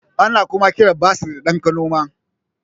Ana kuma kiran basir da ɗan kanoma